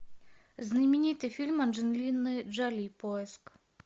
знаменитый фильм анджелины джоли поиск